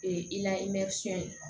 Ee i la ye